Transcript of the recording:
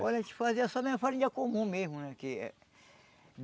Olha, a gente fazia só na farinha comum mesmo né que